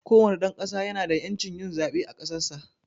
kowane dan ƙasa ya na da yancin yin zaɓe a ƙasarsa.